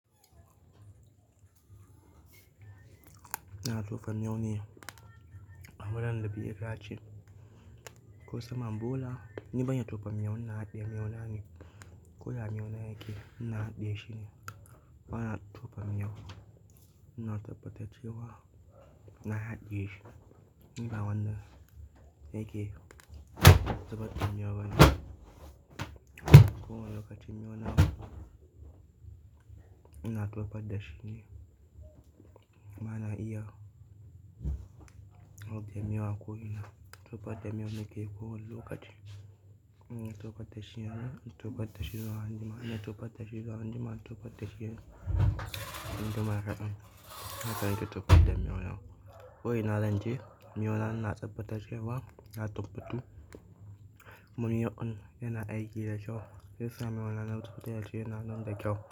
Ina tofa miyau ne a wurin be yadace ko saman bola, ni ban iya tufa miywu ina haɗiye miyau na ne. Ko yaa miyau na yake ina haɗiye shi ne. Bana tufa miyau. Na tabbata cewa ina haɗiye shi ni ba wanda yake zubarda miyau bane. Ko wani lokaci miyau na ina tufar da shi ne. Bana iya zubar da miyau ako ina tufar da miyau nake ko wani lokaci ina tufar da shi yana, ina tufar da shi zuwa anjima. Ina tufar da shi zuwa anjima in tofar da shi anjima kaɗan, haka ne ke tofar da miyo yana. Ko ina zan je, miyau ina na tabbatar cewa na tufar tu. Mun yi un yana aiki da kewa im samu wani noti yana nan da kyau.